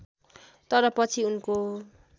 तर पछि उनको